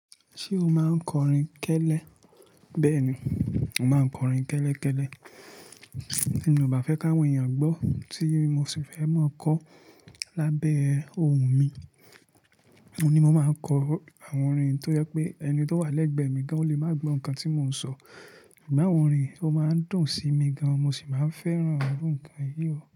Ṣé o máa ń kọrin kẹ́lẹ́? Bẹ́ẹ̀ni, màá ń kọrin kẹ́lẹ́ kẹ́lẹ́. Tí mi ò bá fẹ́ káwọn èèyàn gbọ́, tí mo sì fẹ́ máa kọ lábẹ́ oùn mi, òhun ní mo máa kọ àwọn orin tó jẹ́ pé ẹni tó wà lẹ́gbẹ̀ẹ́ mi gan ò lè máa gbọ́ nǹkan tí mò ń sọ. Ṣùgbọ́n àwọn orin yẹn ó máa ń dùn sí mi gan mo sì máa ń fẹ́ràn irú nǹkan yìí o.